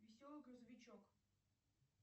веселый грузовичок